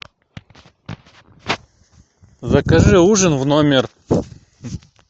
закажи ужин в номер